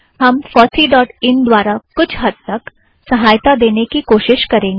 हम FOSSEE dot in द्वारा कुछ हद्द तक सहायता देने की कोशिश करेंगे